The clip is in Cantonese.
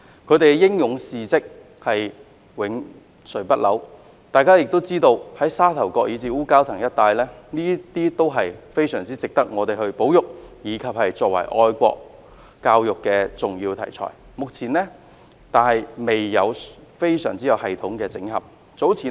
他們的英勇事蹟永垂不朽，大家也知道，沙頭角以至烏蛟騰一帶，都非常值得我們保育，以及作為愛國教育的重要題材，但目前未有系統性整合。